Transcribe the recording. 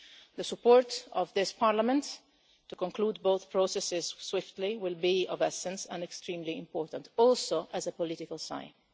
The support of this Parliament to conclude both processes swiftly will be of the essence and extremely important, also as a political sign.